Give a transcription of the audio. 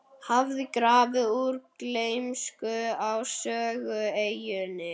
hafði grafið úr gleymsku á Sögueyjunni.